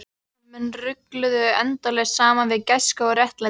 Sem menn rugluðu endalaust saman við gæsku og réttlæti.